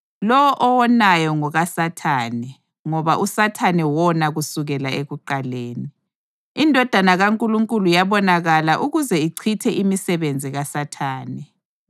Lowo owonayo ngokaSathane ngoba uSathane wona kusukela ekuqaleni. INdodana kaNkulunkulu yabonakala ukuze ichithe imisebenzi kaSathane.